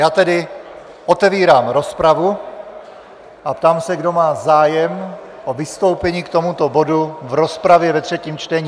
Já tedy otevírám rozpravu a ptám se, kdo má zájem o vystoupení k tomuto bodu v rozpravě ve třetím čtení.